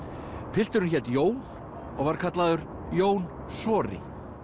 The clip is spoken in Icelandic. pilturinn hét Jón og var kallaður Jón sori